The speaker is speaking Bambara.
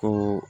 Ko